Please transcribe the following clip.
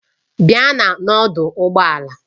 Bịa n'ọdụ ụgbọ ala!